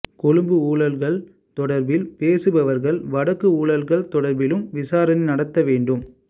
கொழும்பு ஊழல்கள் தொடர்பில் பேசுபவர்கள் வடக்கு ஊழல்கள் தொடர்பிலும் விசாரணை நடாத்த வேண்டும்